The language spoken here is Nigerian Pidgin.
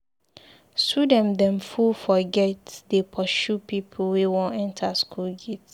Student dem full for gate dey pursue pipu wey wan enta skool gate.